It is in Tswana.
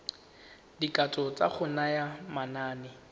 dikatso tsa go naya manane